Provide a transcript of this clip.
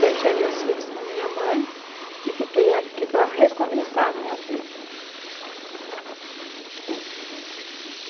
Deixei meus filhos com a minha mãe e fiquei aqui para recomeçar a minha vida.